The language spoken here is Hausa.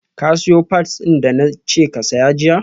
ka siyo pads din da na ce ka saya jiya?